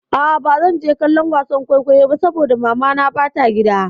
A'a bazan je kallon wasan kwaikwayon ba saboda mamana ba ta gida.